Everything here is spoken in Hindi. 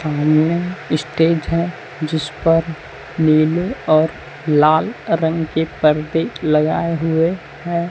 स्टेज है जिस पर नीले और लाल रंग के पर्दे लगाए हुए हैं।